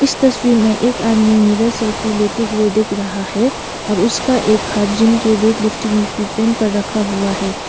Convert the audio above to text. तस्वीर में एक आदमी मिरर सेल्फी लेते हुए दिख रहा है और उसका एक हाथ जिम के वेट लिफ्टिंग इक्विपमेंट पर रखा हुआ है।